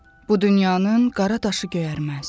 Bu dünyanın qara daşı göyərməz.